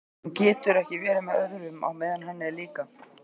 Hún getur ekki verið með öðrum á meðan hann er líka.